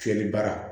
Fiyɛli baara